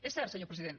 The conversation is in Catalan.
és cert senyor president